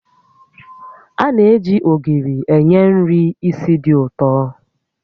A na-eji ogiri enye nri ísì dị ụtọ